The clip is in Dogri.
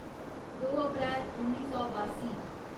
दो अप्रैल उन्नी सौ बासी